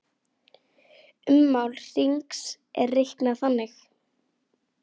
Ummál hrings er reiknað þannig